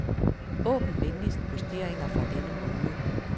Åbn venligst posteringer fra denne måned.